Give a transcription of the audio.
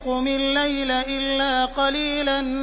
قُمِ اللَّيْلَ إِلَّا قَلِيلًا